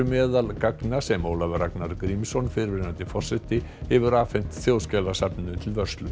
meðal gagna sem Ólafur Ragnar Grímsson fyrrverandi forseti hefur afhent Þjóðskjalasafninu til vörslu